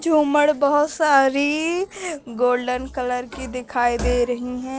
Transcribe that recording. झूमड़ बहुत सारी golden colour की दिखाई दे रही है।